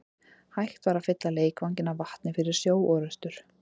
Hægt var að fylla leikvanginn af vatni fyrir sjóorrustur.